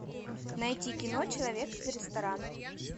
найти кино человек из ресторана